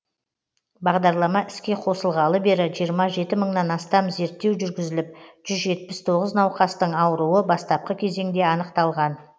бағдарлама іске қосылғалы бері жиырма жеті мыңнан астам зерттеу жүргізіліп жүз жетпіс тоғыз науқастың ауруы бастапқы кезеңде анықталған